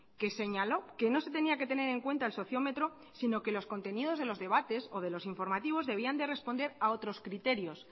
que señaló que no se tenía que tener en cuenta el sociómetro sino que los contenidos de los debates o de los informativos debían de responder a otros criterios